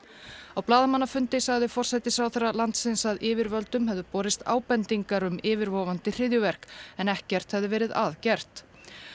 á blaðamannafundi sagði forsætisráðherra landsins að yfirvöldum hefðu borist ábendingar um yfirvofandi hryðjuverk en ekkert hefði verið að gert